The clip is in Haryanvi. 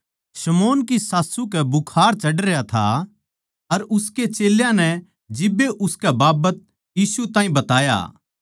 शमौन की सास्सू कै बुखार चढ़रया था अर उसके चेल्यां नै जिब्बे उसकै बाबत यीशु ताहीं बताया